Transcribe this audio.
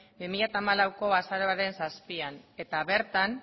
bi mila hamalaueko azaroaren zazpian eta bertan